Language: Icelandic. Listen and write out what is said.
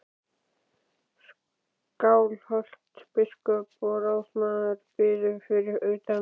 Skálholtsbiskup og ráðsmaður biðu fyrir utan.